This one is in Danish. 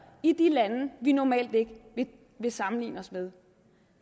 i de lande vi normalt ikke vil sammenligne os med